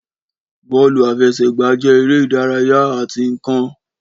Bọ́ọ̀lù àfẹsẹ̀gbá jẹ́ eré ìdárayá àti ǹkan